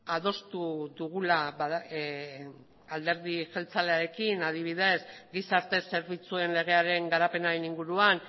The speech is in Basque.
adostu dugula alderdi jeltzalearekin adibidez gizarte zerbitzuaren legearen garapenaren inguruan